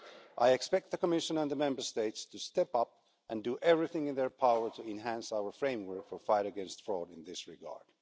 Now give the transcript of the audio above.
I expect the Commission and the Member States to step up and do everything in their power to enhance our framework for the fight against fraud in this regard.